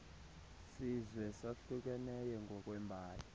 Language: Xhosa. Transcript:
sizwe sahlukeneyo ngokweembali